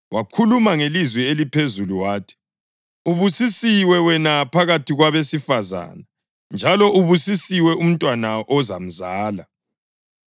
Wakhuluma ngelizwi eliphezulu wathi, “Ubusisiwe wena phakathi kwabesifazane, njalo ubusisiwe umntwana ozamzala!